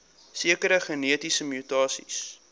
sekere genetiese mutasies